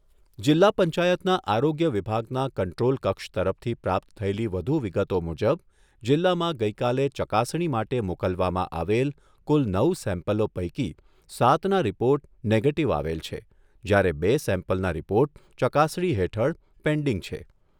જિલ્લા પંચાયતના આરોગ્ય વિભાગના કંટ્રોલ કક્ષ તરફથી પ્રાપ્ત થયેલી વધુ વિગતો મુજબ જિલ્લામાં ગઈકાલે ચકાસણી માટે મોકલવામાં આવેલ કુલ નવ સેમ્પલો પૈકી સાતના રિપોર્ટ નેગેટીવ આવેલ છે, જ્યારે બે સેમ્પલના રિપોર્ટ ચકાસણી હેઠળ પેન્ડીંગ છે.